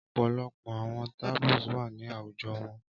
Ọpọlọpọ awọn taboos wa ni awujọ wọn